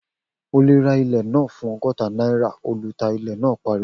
O lè ra ilẹ̀ náà fún ọgọ́ta náírà, ọlùtà ilẹ̀ náà pariwo